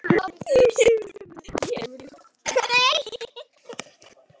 Lagt á flótta